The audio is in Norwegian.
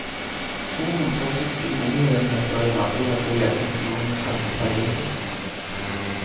To hundre og sytti boenheter i nabolaget ble jevnet med jorden, og skapte tragedier.